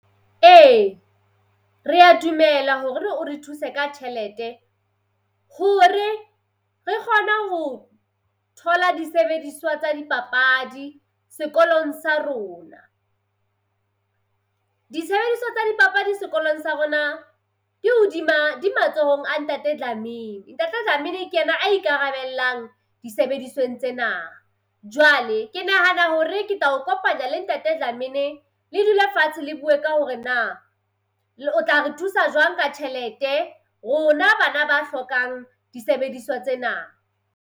Ee rea dumela hore o re thuse ka tjhelete hore re kgone ho thola disebediswa tsa dipapadi sekolong sa rona. Disebediswa tsa dipapadi sekolong sa rona ke hodima di matsohong a Ntate Dlamini, Ntate Dlamini, ke ena a ikarabellang disebedisweng tsena. Jwale ke nahana hore ke tla o kopanya le Ntate Dlamini le dule fatshe le bue ka hore na o tla re thusa jwang ka tjhelete rona bana ba hlokang disebediswa tsena.